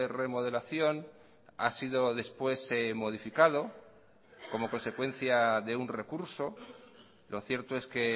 remodelación ha sido después modificado como consecuencia de un recurso lo cierto es que